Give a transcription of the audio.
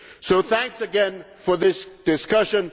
So, thank you again for this discussion.